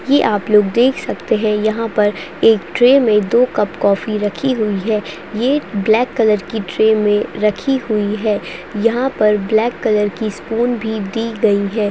ये आप लोग देख सकते हैं यहाँ पर एक ट्रे में दो कप कॉफ़ी रखी हुई है ये ब्लेक कलर की ट्रे में रखी हुई है यहाँ पर ब्लैक कलर की स्पून भी दी गई है।